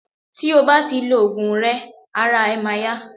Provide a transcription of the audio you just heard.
ti o bá ti lo ògùn rẹ ara e ma ya